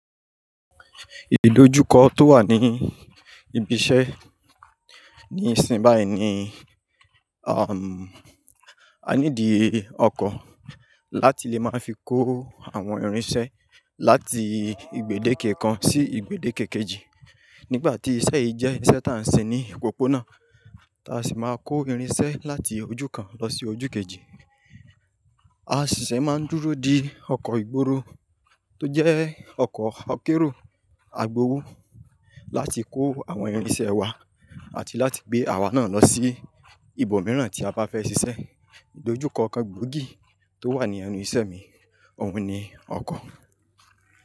Ìdòjúkọ̀ tó wà ní ibi isé ní ìsìn báyi ni, a ní dì ọkọ̀ láti le má fi kó àwon ìrín isé láti igbèdé kẹ̀kàn sí igbèdé kẹ̀kẹ̀ji. Nígbàtí isé yí jé isé tá n sìn ní òpópónà, táa sì má kó ìrín isé láti ojú kàn ló sì ojú kẹ̀ji. A sì se má n dúró di ọkọ̀ ìgboro to jé ọkọ̀ akérò agbowó láti kó àwon ìrín isé wa àti láti gbé àwa náà ló sí ibò mìíràn tí a bá fẹ sisé. Ìdojúkọ̀ kàn gbòógí tó wà ní ẹnu isé mi ọ̀un ni ọkọ̀.